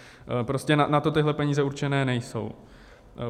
Prostě na to tyhle peníze určené nejsou.